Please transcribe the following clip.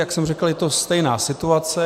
Jak jsem řekl, je to stejná situace.